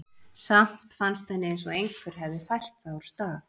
Samt fannst henni eins og einhver hefði fært það úr stað.